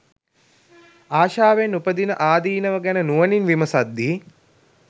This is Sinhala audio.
ආශාවෙන් උපදින ආදීනව ගැන නුවණින් විමසද්දී